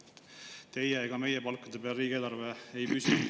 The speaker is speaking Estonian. Ei teie ega meie palkade peal riigieelarve ei püsi.